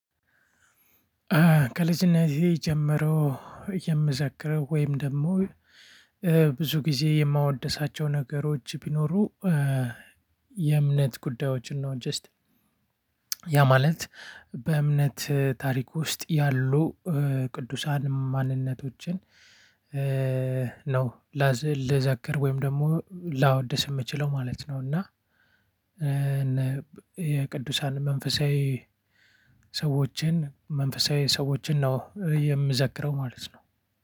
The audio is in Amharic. ከልጅነቴ ጀምሮ የምዘክረው ወይም ደግሞ ብዙ ጊዜ የማወድሳቸው ነገሮች ቢኖሩ የእምነት ጉዳዮችን ነው። ጀስት ያ ማለት በእምነት ታሪክ ውስጥ ያሉ ቅዱሳን ማንነቶችን ነው። ላዝ ልዘክር ወይም ደግሞ ላወድስ የምችለው ማለት ነው። እና የቅዱሳን መንፈሳዊ ሰዎችን መንፈሳዊ ሰዎችን ነው የምዘክረው ማለት ነው።